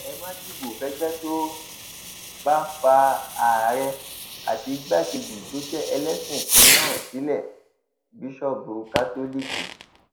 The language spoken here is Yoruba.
ẹ má dìbò fẹgbẹ tó bá fa àárẹ àti igbákejì tó jẹ ẹlẹsìn kan náà sílé bíṣọọbù kátólíìkì